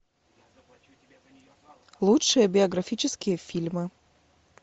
лучшие биографические фильмы